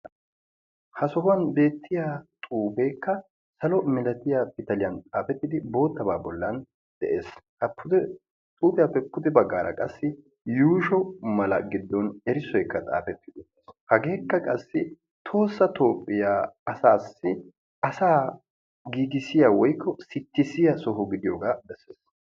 ha sohuwaan beettiyaa xuufekka salo millatiyaa pitaliyaa xaafetidi boottaba bolla de'ees. ha xuufiyaappe pude baggara qassi erisso mala xaafiis. pude baggara qassi yuushsho mala giddon erissoykka xaafetiis, hageekka qassi tohossa toophiyaa asa giigissiya woykko sittissiya soho gidiyooga bessees.